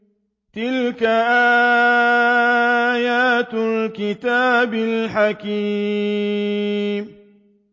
تِلْكَ آيَاتُ الْكِتَابِ الْحَكِيمِ